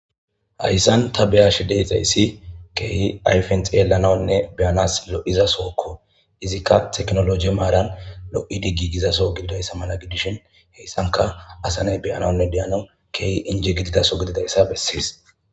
Hayssan ta beya shideyxayssi keehi ayfen xeelananne beyanas lo7izasookko izikka teknoloje maaran lo'i diggi gizaso giidayssa mala gidishin heyssanka asaney beyananne deyanaw keehi inje gitidaso gididayssa bessiis